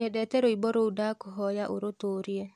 nyendete rwĩmbo ruũ ndakũhoya urutuurie